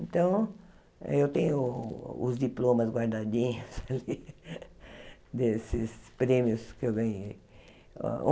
Então, eu tenho os diplomas guardadinhos desses prêmios que eu ganhei.